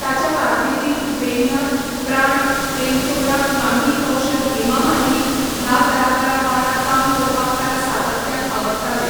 ताच्या कारकिर्दींत प्रेमनाथ, प्राण, प्रेम चोपडा, कामिनी कौशल, हेमामालिनी ह्या कलाकारां वांगडा काम करपाक ताका सातत्यान आवडटालें.